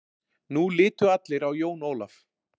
Nú litu allir á Jón Ólaf.